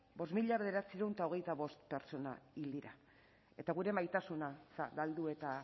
bost mila bederatziehun eta hogeita bost pertsona hil dira eta gure maitasuna